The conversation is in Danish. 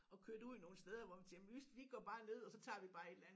Og kørte ud nogle steder hvor vi tænkte vi vi går bare ned og så tager vi bare et eller andet